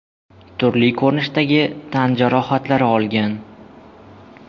turli ko‘rinishdagi tan jarohatlari olgan.